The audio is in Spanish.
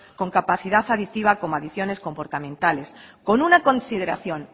con capacidad adictiva como adicciones comportamentales con una consideración